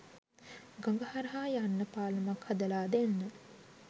ගඟ හරහා යන්න පාලමක් හදලා දෙන්න